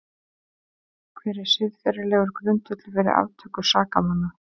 Hver er siðferðilegur grundvöllur fyrir aftöku sakamanna?